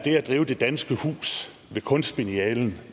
drive det danske hus ved kunstbiennalen